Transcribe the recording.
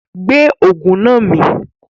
Gbé Ògùn náà mì!